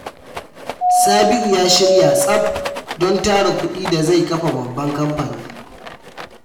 Sabiu ya shirya tsaf don tara kudi da zai kafa babban kamfani.